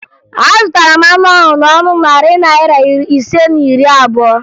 Azụtara m anụ ahụ n'ọnụ narị naịra ise na iri abụo